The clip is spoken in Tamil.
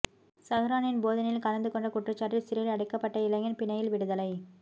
சஹ்ரானின் போதனையில் கலந்து கொண்ட குற்றச்சாட்டில் சிறையிலடைக்கப்பட்ட இளைஞன் பிணையில் விடுதலை